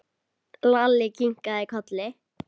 Lalli kinkaði kolli.